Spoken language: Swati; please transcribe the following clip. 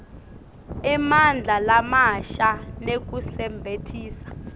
emandla lamasha nekusebentisa